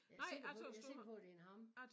Jeg er sikker på jeg er sikker på det er en ham